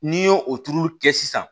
N'i ye o tuuru kɛ sisan